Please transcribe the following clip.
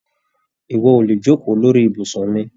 Ìwọ o le jokoo lórí ibùsùn mi!